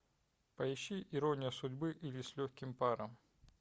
поищи ирония судьбы или с легким паром